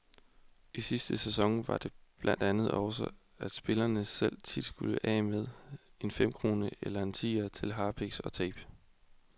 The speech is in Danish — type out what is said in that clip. I sidste sæson var det blandt andet sådan, at spillerne selv tit skulle af med en femkrone eller en tier til harpiks og tape.